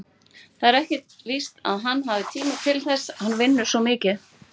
Það er ekkert víst að hann hafi tíma til þess, hann vinnur svo mikið.